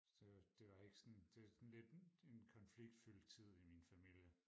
det var det var ikke sådan det var sådan lidt en konfliktfyldt tid i min familie